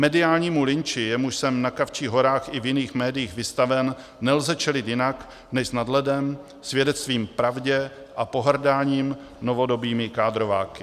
Mediálnímu lynči, jemuž jsem na Kavčích horách i v jiných médiích vystaven, nelze čelit jinak než s nadhledem, svědectvím pravdě a pohrdáním novodobými kádrováky.